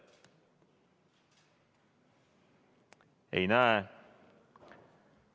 Ei näe proteste.